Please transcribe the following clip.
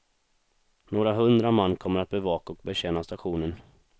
Några hundra man kommer att bevaka och betjäna stationen.